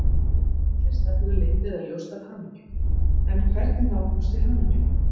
Allir stefna leynt eða ljóst að hamingju, en hvernig nálgumst við hamingjuna?